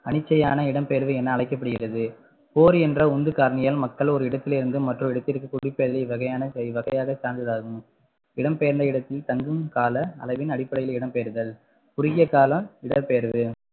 அனிச்சையான இடம்பெயர்வு என அழைக்கப்படுகிறது போர் என்ற உந்துகாரணிகள் மக்கள் ஒரு இடத்திலிருந்து மற்றொரு இடத்திற்கு குடிப்பெயர்தல் இவ்வகையான இவ்வகையான சான்றாகும் இடம்பெயர்ந்த இடத்தின் தங்கும் கால அளவின் அடிப்படையில் இடம்பெயர்தல் குறுகிய கால இடம்பெயர்வு